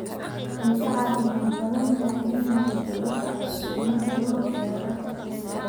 Way ka caafimaad badan tahay in la xidho dhar cusub marka loo eego dharka celiska ah.